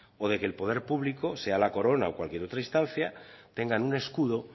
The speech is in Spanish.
o de que el poder público sea la corono o cualquier otra instancia tengan un escudo